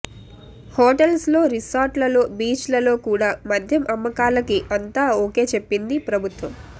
hotels లో resort లలో beach లలో కూడా మద్యం అమ్మకాలకి అంతా ఓకే చెప్పింది ప్రభుత్వం